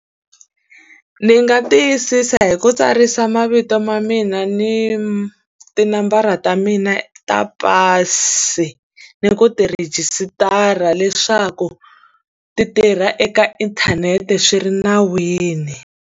Ndzi nga tiyisisa hi ku tsarisa mavito ma mina ni tinambara ta mina ta pasi, ni ku ti rhejisitara leswaku ti tirha eka inthanete swi ri nawini.